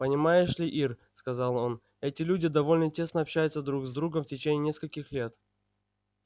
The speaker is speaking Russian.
понимаешь ли ир сказал он эти люди довольно тесно общаются друг с другом в течение нескольких лет